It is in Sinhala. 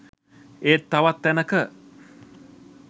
ඒත් තවත් තැනක